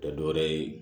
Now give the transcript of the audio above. Tɛ dɔ wɛrɛ ye